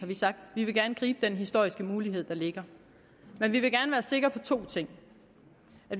vi vil godt gribe den historiske mulighed der ligger men vi vil gerne være sikre på to ting